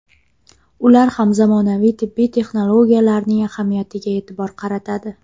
Ular ham zamonaviy tibbiy texnologiyalarning ahamiyatiga e’tibor qaratadi.